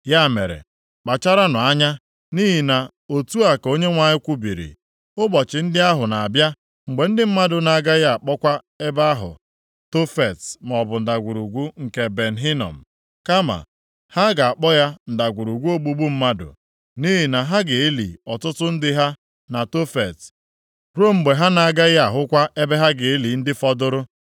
Ya mere, kpacharanụ anya, nʼihi na otu a ka Onyenwe anyị kwubiri, ụbọchị ndị ahụ na-abịa, mgbe ndị mmadụ na-agaghị akpọkwa ebe ahụ Tofet maọbụ Ndagwurugwu nke Ben Hinom. Kama ha ga-akpọ ya ndagwurugwu ogbugbu mmadụ, nʼihi na ha ga-eli ọtụtụ ndị ha na Tofet ruo mgbe ha na-agaghị ahụkwa ebe ha ga-eli ndị fọdụrụ.